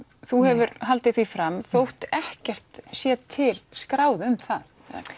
þú hefur haldið því fram þótt ekkert sé til skráð um það